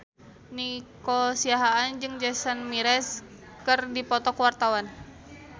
Nico Siahaan jeung Jason Mraz keur dipoto ku wartawan